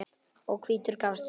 og hvítur gafst upp.